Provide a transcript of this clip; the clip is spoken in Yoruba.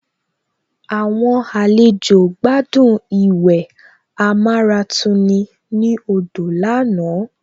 Àwọn àlejò gbádùn ìwẹ̀ amáratuni ní odò lánàá